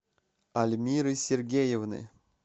альмиры сергеевны